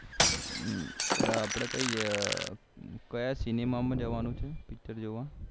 અપડે કઈ ક્યાં CINEMA માં જવાનું છે picture જોવા